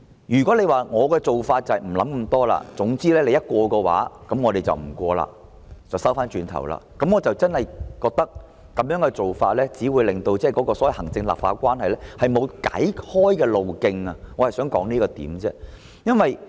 如果政府決定不仔細思考，總之議員如通過修正案，政府便撤回《條例草案》，不讓其通過，我認為這種做法真的只會令行政立法關係沒有出路，我只是想指出這點。